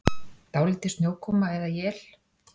Dálítil snjókoma eða él